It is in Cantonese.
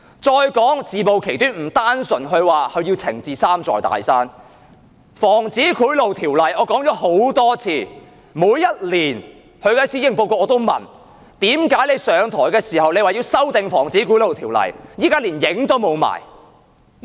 再說自暴其短，不單是她說要整治"三座大山"，《防止賄賂條例》，我說了很多次，每年她發表施政報告時我都問，為何她上台時說要修訂《防止賄賂條例》，現在卻連影都沒有？